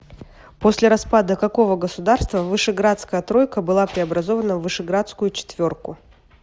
после распада какого государства вышеградская тройка была преобразована в вышеградскую четверку